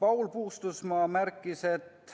Paul Puustusmaa märkis, et